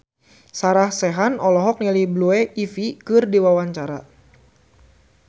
Sarah Sechan olohok ningali Blue Ivy keur diwawancara